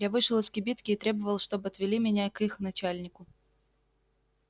я вышел из кибитки и требовал чтоб отвели меня к их начальнику